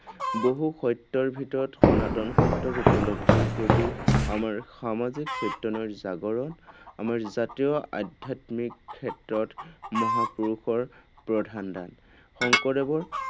বহু সত্যৰ ভিতৰত সনাতন সত্যৰ উপলব্ধিৰ প্ৰতি আমাৰ সামাজিক চৈতন্যৰ জাগৰণ, আমাৰ জাতীয় আধ্যাত্মিক ক্ষেত্ৰত মহাপুৰুষৰ প্ৰধান দান। শংকৰদেৱৰ